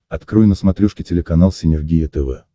открой на смотрешке телеканал синергия тв